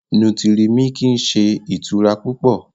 Nútírì-míkí n sẹ̀ itura pupọ̀